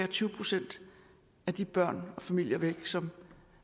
tyve procent af de børn og familier som